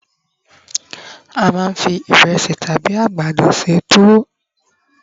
a ma n fi iresi tabi àgbàdo se tuwo